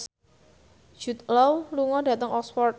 Jude Law lunga dhateng Oxford